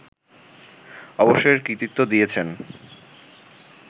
অবশ্য এর কৃতিত্ব দিয়েছেন